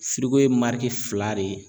ye fila de ye